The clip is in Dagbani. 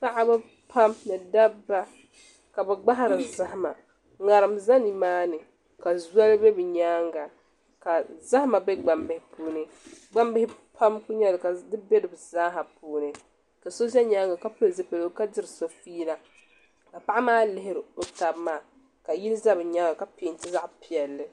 Paɣaba pam ni dabba ka bi gbahari zahama ŋarim ʒɛ nimaani ka zɔli bɛ bi nyaanga ka zahama bɛ gbambihi puuni gbambihi pam n nyɛli ka di bɛ di zaaha puuni ka so ʒɛ nyaanga ka pili zipiligu ka diri so fiila ka paɣa maa lihiri o tabi maa ka yili ʒɛ bi nyaanga ka peenti zaɣ piɛlli